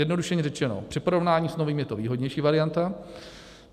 Zjednodušeně řečeno, při porovnání s novými je to výhodnější varianta.